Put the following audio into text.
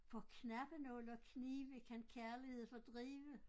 For knappenåle og knive kan kærlighed fordrive